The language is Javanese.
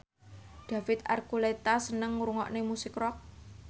David Archuletta seneng ngrungokne musik rock